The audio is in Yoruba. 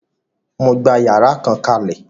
Mo gbà yàrá kan kalẹ.